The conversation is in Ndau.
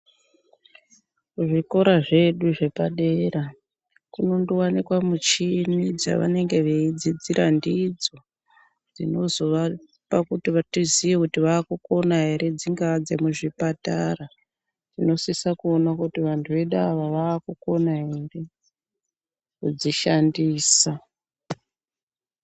Zvikora zvedu zvepa dera kunondo wanikwa michini dzavanenge veyi dzidzira ndidzo dzinozo vapa kuti tiziye kuti vakukona ere dzingava dze mu zvipatara tino sisa kuona kuti vantu vedu ava vakukona ere kudzi shandisa.